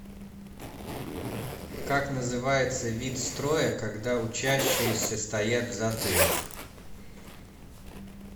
как называется вид строя когда учащиеся стоят в затылок